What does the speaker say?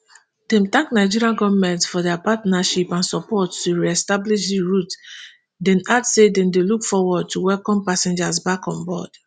dem thank nigerian goment for dia partnership and support to reestablish di route dem add say dem dey look forward to welcome passengers back onboard